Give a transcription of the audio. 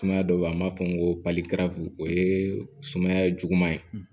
Sumaya dɔ bɛ yen an b'a fɔ ko o ye sumaya ye juguman ye